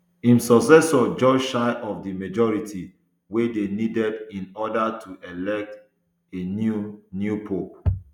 im successor just shy of di majority wey dey needed in order to elect a new new pope